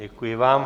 Děkuji vám.